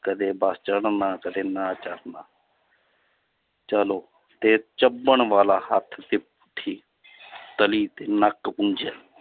ਕਦੇ ਬਸ ਚੜ੍ਹਨਾ ਕਦੇ ਨਾ ਚੜ੍ਹਨਾ ਚਲੋ ਤੇ ਚੱਬਣ ਵਾਲਾ ਹੱਥ ਤੇ ਪੁੱਠੀ ਤਲੀ ਤੇ ਨੱਕ ਪੂੰਝਿਆ